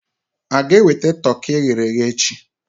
A ga-enweta toki e ghere eghe echi?